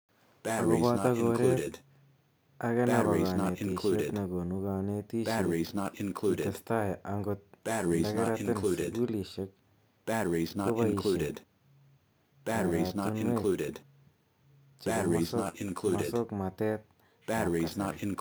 Ako boto koret ake nebo kanetishet ne konu kanetishet kitestai angot ndakeratin sukulishek kobaishe koratunuek che bo mosokmatet ab kasari.